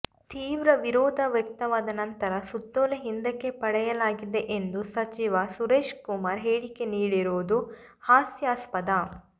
ತೀವ್ರ ವಿರೋಧ ವ್ಯಕ್ತವಾದ ನಂತರ ಸುತ್ತೋಲೆ ಹಿಂದಕ್ಕೆ ಪಡೆಯಲಾಗಿದೆ ಎಂದು ಸಚಿವ ಸುರೇಶ್ಕುಮಾರ್ ಹೇಳಿಕೆ ನೀಡಿರುವುದು ಹಾಸ್ಯಾಸ್ಪದ